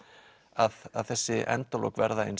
að þessi endalok verða eins